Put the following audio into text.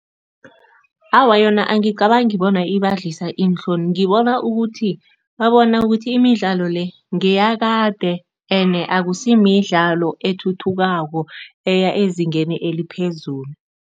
Awa yona angicabangi bona ibadlisa iinhloni. Ngibona ukuthi, babona ukuthi imidlalo le ngeyakade ene akusimidlalo ethuthukako eya ezingeni eliphezulu.